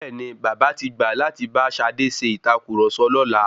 Bẹ́ẹ̀ni, bàbá tí gbà láti bá Ṣadé ṣe ìtàkurọ̀sọ lọ́la.